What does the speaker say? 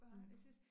Mh